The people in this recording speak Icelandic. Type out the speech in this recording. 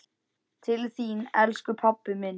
Til þín, elsku pabbi minn.